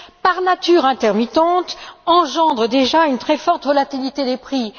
par nature intermittente, engendre déjà une très forte relativité des prix.